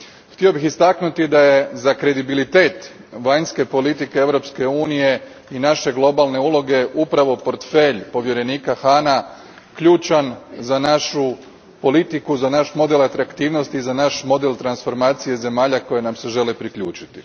Htio bih istaknuti da je za kredibilitet vanjske politike Europske unije i naše globalne uloge upravo portfelj povjerenika Hahna ključan za našu politiku, za naš model atraktivnosti, za naš model transformacije zemalja koje nam se žele priključiti.